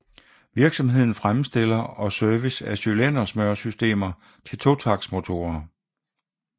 Virksomheden fremstiller og service af cylindersmøresystemer til totaktsmotorer